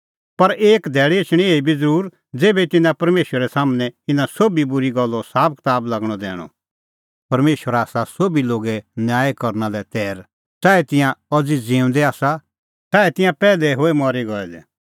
पर एक धैल़ी एछणी एही बी ज़रूर ज़ेभै तिन्नां परमेशरा सम्हनै इना सोभी बूरी गल्लो साबकताब लागणअ दैणअ परमेशर आसा सोभी लोगे न्याय करना लै तैर च़ाऐ तिंयां अज़ी ज़िऊंदै आसा च़ाऐ तिंयां पैहलै होए मरी गऐ दै